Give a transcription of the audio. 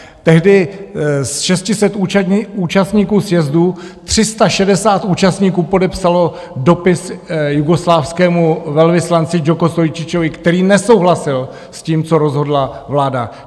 Tehdy z 600 účastníků sjezdu 360 účastníků podepsalo dopis jugoslávskému velvyslanci Djoko Stojičičovi, který nesouhlasil s tím, co rozhodla vláda.